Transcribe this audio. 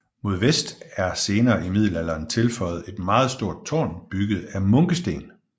Mod vest er senere i middelalderen tilføjet et meget stort tårn bygget af munkesten